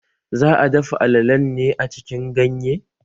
Za'a dafa alalen ne a cikin ganye?